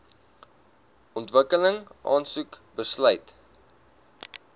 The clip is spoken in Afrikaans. ontwikkeling aansoek besluit